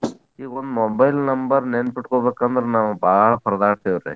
ಈಗೊಂದ್ mobile number ನೆನಪಿಟ್ಕೊಬೇಕಂದ್ರ ನಾವ್ ಬಾಳ ಪರದಾಡ್ತೇವ್ರಿ.